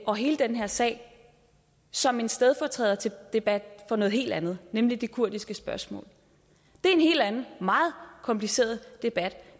og hele den her sag som en stedfortræderdebat for noget helt andet nemlig det kurdiske spørgsmål det er en helt anden og meget kompliceret debat